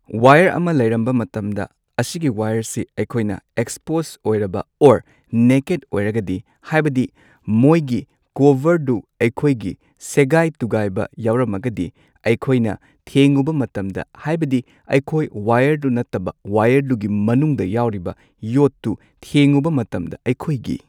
Wire ꯑꯃ ꯂꯩꯔꯝꯕ ꯃꯇꯝꯗ ꯑꯁꯤꯒꯤ ꯋꯥꯏꯌꯔꯁꯦ ꯑꯩꯈꯣꯏꯅ ꯑꯦꯛꯁꯁ꯭ꯄꯣꯁ ꯑꯣꯏꯔꯕ ꯑꯣꯔ ꯅꯦꯀꯦꯗ ꯑꯣꯏꯔꯒꯗꯤ ꯍꯥꯏꯕꯗꯤ ꯃꯣꯏꯒꯤ ꯀꯣꯚꯔꯗꯨ ꯑꯩꯈꯣꯏꯒꯤ ꯁꯦꯒꯥꯏ ꯇꯨꯒꯥꯏꯕ ꯌꯥꯎꯔꯝꯃꯒꯗꯤ ꯑꯩꯈꯣꯏꯅ ꯊꯦꯡꯉꯨꯕ ꯃꯇꯝꯗ ꯍꯥꯏꯕꯗꯤ ꯑꯩꯈꯣꯏ ꯋꯥꯏꯌꯔꯗꯨ ꯅꯠꯇꯕ ꯋꯥꯏꯌꯔꯗꯨꯒꯤ ꯃꯅꯨꯡꯗ ꯌꯥꯎꯔꯤꯕ ꯌꯣꯠꯇꯨ ꯊꯦꯡꯉꯨ ꯃꯇꯝꯗ ꯑꯩꯈꯣꯏꯒꯤ꯫